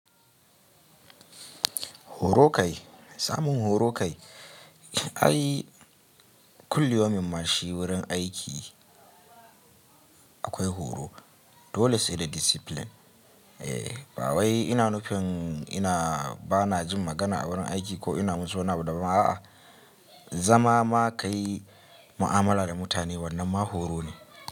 Horo kai, samun horo kai. Ai kulli yaumin mashi wurin aiki akwai horo dole su da discipline. Ba wai ina nufin ina bana jin magana a wurin aiki ko ina musu wani abu daban a'a. Zama ma kayi mu'amala da mutane wannan ma horo ne.